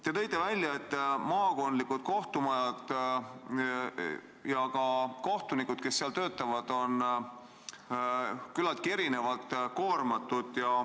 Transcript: Te tõite välja, et maakondlikud kohtumajad ja ka kohtunikud, kes seal töötavad, on küllaltki erinevalt koormatud.